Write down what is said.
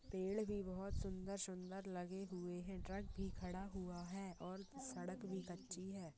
पेड़ भी बहुत सुंदर सुंदर लगे हुए हैं ट्रक भी खड़ा हुआ है और सड़क भी कच्ची है।